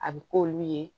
A bɛ k'olu ye